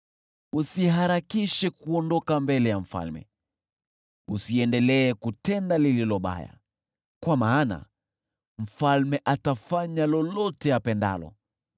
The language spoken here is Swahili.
Usiharakishe kuondoka mbele ya mfalme. Usiendelee kutenda lililo baya, kwa maana mfalme atafanya lolote apendalo.